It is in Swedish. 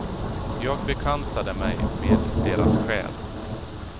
Jag bekantade mig med deras själ.